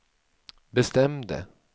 bestämde